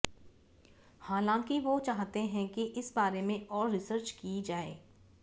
हालांकि वो चाहते हैं कि इस बारे में और रिसर्च की जाए